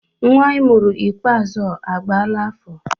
Nnwa I mụrụ ikpeazụ ọ agbaala afọ?